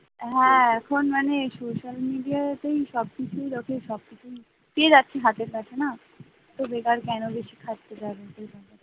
হ্যাঁ এখন মানে social media তেই সবকিছু দেখে সবকিছুই পেয়ে যাচ্ছি হাতের কাছে না তো বেকার কেন বেশি কাটছিস